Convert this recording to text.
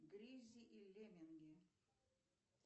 гриззи и лемминги